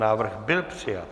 Návrh byl přijat.